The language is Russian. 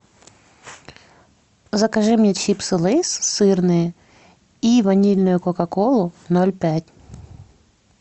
закажи мне чипсы лейс сырные и ванильную кока колу ноль пять